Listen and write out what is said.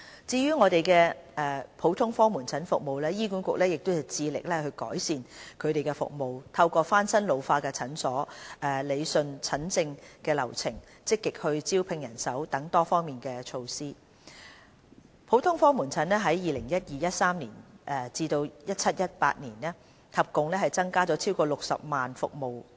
至於普通科門診服務，醫院管理局致力改善服務，透過翻新老化診所、理順診症流程、積極招聘人手等多方面措施，普通科門診在 2012-2013 年度至 2017-2018 年度合共增加超過60萬服務人次。